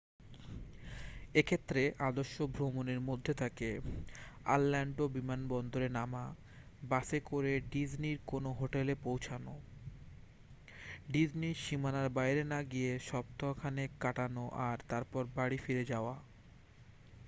এক্ষেত্রে আদর্শ ভ্রমণের মধ্যে থাকে অরল্যান্ডো বিমানবন্দরে নামা বাসে করে ডিজনির কোনো হোটেলে পৌঁছনো ডিজনির সীমানার বাইরে না গিয়ে সপ্তাহখানেক কাটানো আর তারপর বাড়ি ফিরে যাওয়া